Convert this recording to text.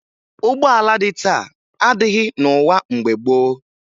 Ụgbọala dị taa adịghị n'ụwa mgbe gboo